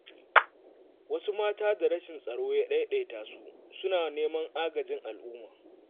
Wasu mata da rashin tsaro ya ɗaiɗata su, suna neman agajin al'umma.